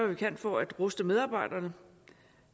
vi kan for at ruste medarbejderne